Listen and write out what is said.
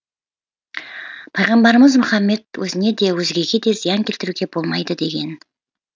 пайғамбарымыз мұхаммед өзіне де өзгеге де зиян келтіруге болмайды деген